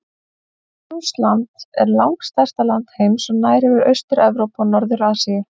Rússland er langstærsta land heims og nær yfir Austur-Evrópu og Norður-Asíu.